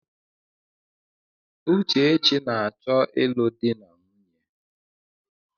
Uchechi na-achọ ịlụ di na nwunye.